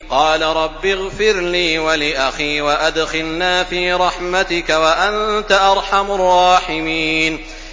قَالَ رَبِّ اغْفِرْ لِي وَلِأَخِي وَأَدْخِلْنَا فِي رَحْمَتِكَ ۖ وَأَنتَ أَرْحَمُ الرَّاحِمِينَ